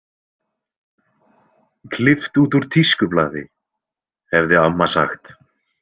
Klippt út úr tískublaði, hefði amma sagt.